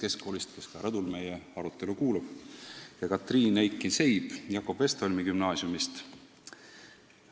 Keskkoolist – ta kuulab praegu rõdul meie arutelu – ja Katriin Eikin Sein Jakob Westholmi Gümnaasiumist.